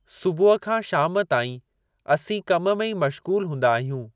सुबुह खां शाम ताईं असीं कम में ई मश्ग़ूलु हूंदा आहियूं।